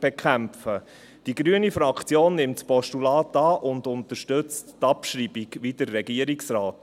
Die grüne Fraktion nimmt das Postulat an und unterstützt die Abschreibung, wie der Regierungsrat.